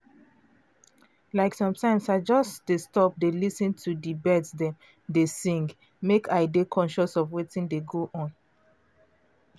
like sometimes i just dey stop dey lis ten to um bird dem dey sing um mek i dey conscious of wetin dey go on.